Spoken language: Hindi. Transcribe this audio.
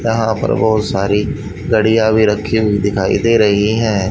यहां पर बहुत सारी घड़ियां भी रखी हुई दिखाई दे रही हैं।